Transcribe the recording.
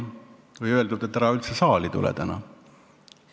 Ehk on talle öeldud, et ära üldse saali tule täna.